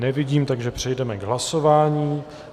Nevidím, takže přejdeme k hlasování.